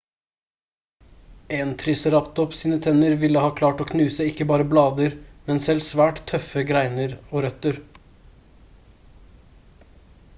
en triceratops sine tenner ville ha klart å knuse ikke bare blader men selv svært tøffe greiner og røtter